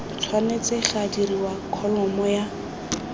tshwanetse ga dirwa kholomo ya